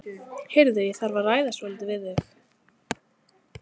Heyrðu, ég þarf að ræða svolítið við þig.